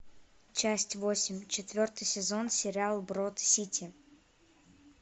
часть восемь четвертый сезон сериал брод сити